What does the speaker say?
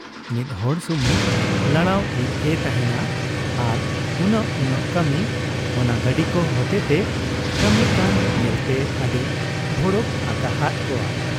ᱢᱤᱫ ᱦᱚᱲ ᱥᱩᱢᱩᱝ ᱞᱟᱲᱟᱣ ᱤᱡ ᱮ ᱛᱟᱦᱮᱸᱱᱟ ᱟᱨ ᱩᱱᱟᱹᱜ ᱩᱱᱟᱹᱜ ᱠᱟᱹᱢᱤ ᱚᱱᱟ ᱜᱟᱹᱰᱤ ᱠᱚ ᱦᱚᱛᱮ ᱛᱮ ᱠᱟᱹᱢᱤᱜ ᱠᱟᱱ ᱧᱮᱞᱛᱮ ᱟᱹᱰᱤ ᱵᱷᱚᱲᱚ ᱟᱠᱟᱦᱟᱫ ᱠᱚᱣᱟ ᱾